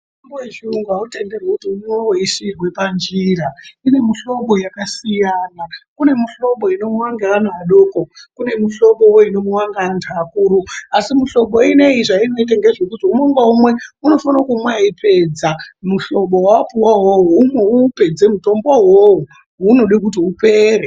Mutombo yechiyungu autenderwi kuti umwiwe weisiirwa panjira. Kune muhlobo yakasiyana. Kune muhlobo inomwiwa ngaana adoko. Kune womuhlobowo unomwiwa ngeantu akuru. Asi mihlobo ineyi zvainoita ngezvekuti umwe ngaumwe unofana kumwa eipedza muhlobo waapuwa wowo. Umwe uupedze mutombo uwowo. Unoda kuti upere.